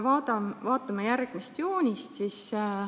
Vaatame joonist.